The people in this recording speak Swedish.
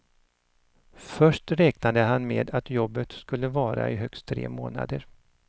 Först räknade han med att jobbet skulle vara i högst tre månader.